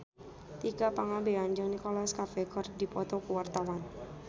Tika Pangabean jeung Nicholas Cafe keur dipoto ku wartawan